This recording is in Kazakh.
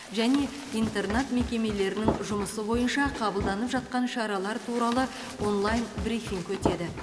және интернат мекемелерінің жұмысы бойынша қабылданып жатқан шаралар туралы онлайн брифинг өтеді